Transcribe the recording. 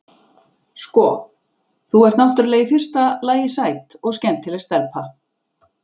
Sko. þú ert náttúrlega í fyrsta lagi sæt og skemmtileg stelpa.